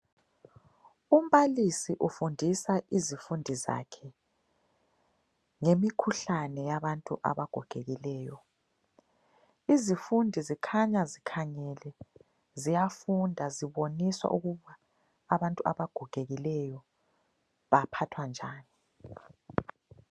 Umbalisi ufundisa izifundi zakhe ngemikhuhlane yabantu abagogekileyo. Izifundi zikhanya zikhangele ziyafunda ziboniswa ukuba abantu abagogekileyo baphathwa njani.